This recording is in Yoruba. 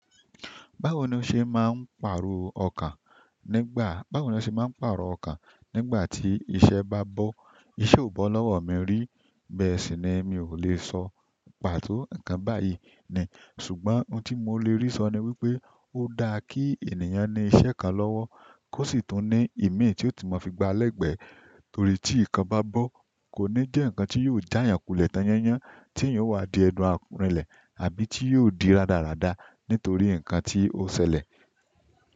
Báwo ni o se maa n parọ ọkan nígbà ti iṣẹ́ ba bọ? Íṣẹ́ ò bọ́ lọ́wọ́ mi rí, bẹ́ẹ̀ sì ni mi ò lè sọ pàtó ǹnkan báyìí ni. Ṣùgbọ́n ohun tí mo lè rí sọ ni wípé ó dá kí ènìyàn ní iṣẹ́ kan lọ́wọ́ kó sì tún ní ìmíì tí ó tun mọ fi gba lẹ́gbẹ̀ẹ́, torí tí ikan bá bọ́ kò ní jẹ́ nǹkan tí yóò já eeyan kulẹ̀ tán yányán, tí eeyan ò wá di ẹdun àrìnlẹ̀. Àbí ti yóò di radarada nítorí nǹkan ti o sẹlẹ.